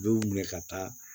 U bɛ minɛ ka taa